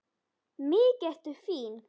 Mikið ertu fín!